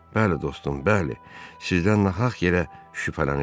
Bəli dostum, bəli, sizdən nahaq yerə şübhələniblər.